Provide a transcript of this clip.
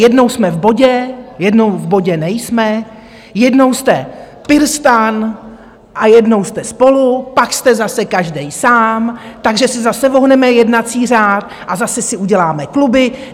Jednou jsme v bodě, jednou v bodě nejsme, jednou jste PirStan a jednou jste SPOLU, pak jste zase každý sám, takže si zase ohneme jednací řád a zase si uděláme kluby!